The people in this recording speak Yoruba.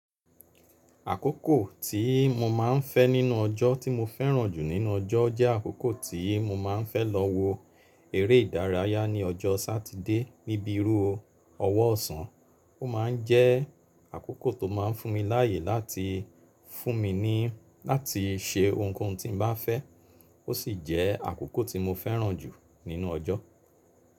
Àkókò tí mo máa ń fẹ́ nínú ọjọ́ tí mo fẹ́ràn jù nínú ọjọ́ jẹ́ àkókò tí mo máa ń fẹ́ lọ wo eré ìdárayá ní ọjọ́ Sátidé níbi rú ọwọ́ ọ̀sán. Ó ma ń jẹ́ àkókò tó máa ń fún mi láàyè láti fún mi ní láti ṣe ohunkóhun tí n bá fẹ́. Ó sì jẹ́ àkókò tí mo fẹ́ràn jù nínú ọjọ́.